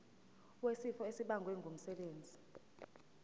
wesifo esibagwe ngumsebenzi